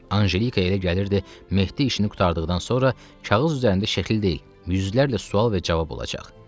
Anjelikaya elə gəlirdi, Mehdi işini qurtardıqdan sonra kağız üzərində şəkil deyil, yüzlərlə sual və cavab olacaq.